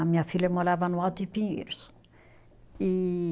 A minha filha morava no Alto de Pinheiros, e